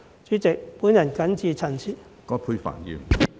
主席，我謹此陳辭。